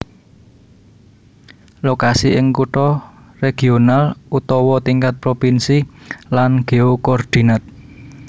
Lokasi ing kutha regional utawa tingkat provinsi lan geokordinat